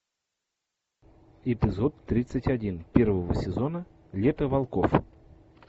эпизод тридцать один первого сезона лето волков